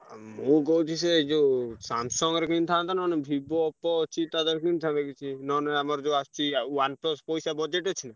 ଆ ମୁଁ କହୁଛି ସେ ଯୋଉ Samsung ର କିଣିଥାନ୍ତ ନହେଲେ Vivo, Oppo ଅଛି, ତା ଧିଅରୁ କିଣିଥାନ୍ତ କିଛି ନହେଲେ ଆମର ଯୋଉ ଆସଚି ଆ OnePlus ପଇସା budget ଅଛି?